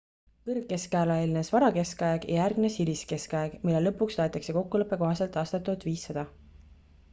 kõrgkeskajale eelnes varakeskaeg ja järgnes hiliskeskaeg mille lõpuks loetakse kokkuleppe kohaselt aastat 1500